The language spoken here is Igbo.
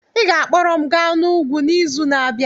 Ị ga-akpọrọ m gaa n'ugwu n'izu na-abịa.